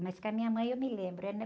Mas com a minha mãe eu me lembro, é,